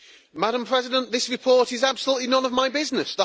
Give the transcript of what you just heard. Madam President, this report is absolutely none of my business.